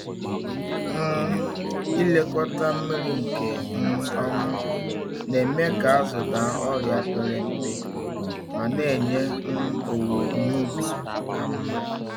um Ịlekọta mmiri nke um ọma na-eme ka azụ daa ọrịa pere mpe ma na-enye um owuwe ihe ubi ka mma.